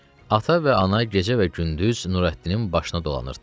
Ata və ana gecə və gündüz Nurəddinin başına dolanırdılar.